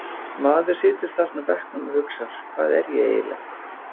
Maður situr þarna á bekknum og hugsar Hvað er ég eiginlega?